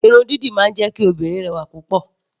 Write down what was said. Irun dídì máa ń jẹ́ kí obìnrin rẹwà lọ́pọ̀lọpọ̀.